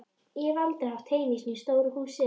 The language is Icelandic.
Ég hef aldrei átt heima í svona stóru húsi.